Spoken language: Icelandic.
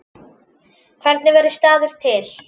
Hvernig verður staður til?